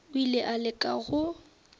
o ile a leka go